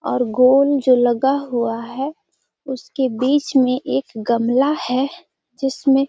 और गोल जो लगा हुआ है उसके बीच में एक गमला है जिसमें --